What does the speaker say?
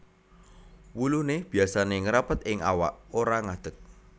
Wuluné biasané ngrapet ing awak ora ngadeg